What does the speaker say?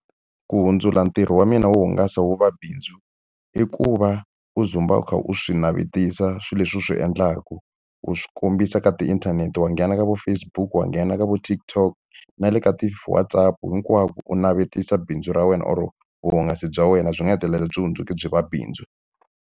Ku hundzula ntirho wa mina wo hungasa wu va bindzu, i ku va u dzumba u kha u swi navetisa swilo leswi u swi endlaka. U swi kombisa ka tiinthanete. Wa nghena ka vo Facebook, wa nghena ka vo tikTok na le ka WhatsApp, hinkwako u navetisa bindzu ra wena or vuhungasi bya wena. Byi nga hetelela byi hundzuke byi va bindzu.